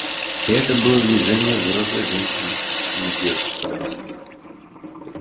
и это было движение взрослой женщины а не девочки-подростка